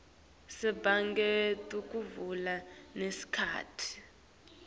tasebhange tekuvala nesikhatsi